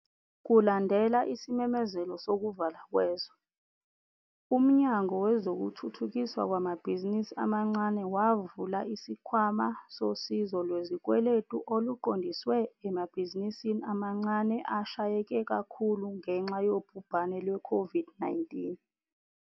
Kulandela isimemezelo sokuvalwa kwezwe, uMnyango Wezokuthuthukiswa Kwamabhizinisi Amancane wavula isikhwama sosizo lwezikweletu oluqondiswe emabhizinisini amancane ashayeke kakhulu ngenxa yobhubhane lwe-COVID-19.